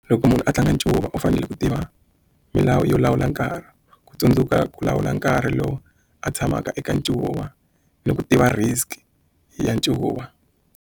Loko munhu a tlanga ncuva u fanele ku tiva milawu yo lawula nkarhi ku tsundzuka ku lawula nkarhi lowu a tshamaka eka ncuva ni ku tiva risk ya ncuva.